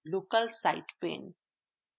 local site pane